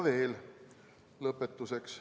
Lõpetuseks.